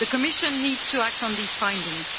The Commission needs to act on these findings.